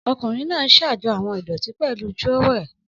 Ọkunrin naa n ṣajọ awọn idoti pẹlu trowel.